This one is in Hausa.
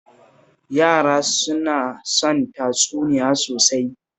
Yara suna son tatsuniyoyi sosai